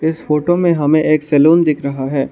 इस फोटो में हमें एक सैलून दिख रहा है।